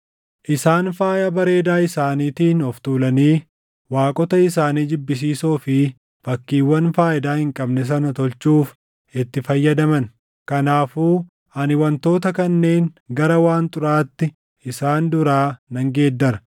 Isaan faaya bareedaa isaaniitiin of tuulanii waaqota isaanii jibbisiisoo fi fakkiiwwan faayidaa hin qabne sana tolchuuf itti fayyadaman. Kanaafuu ani wantoota kanneen gara waan xuraaʼaatti isaan duraa nan geeddara.